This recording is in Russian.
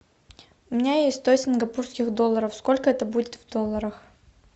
у меня есть сто сингапурских долларов сколько это будет в долларах